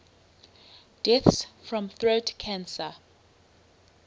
deaths from throat cancer